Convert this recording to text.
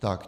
Tak.